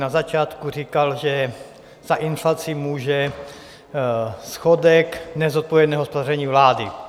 Na začátku říkal, že za inflaci může schodek, nezodpovědné hospodaření vlády.